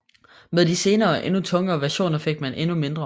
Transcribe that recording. Med de senere og endnu tungere versioner fik man endnu mindre